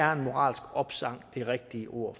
er en moralsk opsang de rigtige ord